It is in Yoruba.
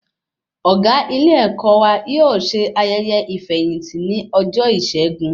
Ọgá ilé-èkó wà yóò ṣe ayẹyẹ ifeyinti ní ọjọ Isẹgun